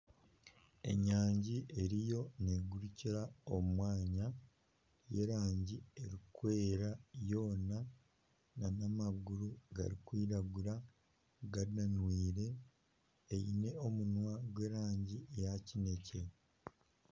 Enyangi eriyo neegurikira omu mwanya n'ey'erangi erikwera yoona n'amaguru garikwiragura gananwire, eine omunwa gw'erangi ya kineekye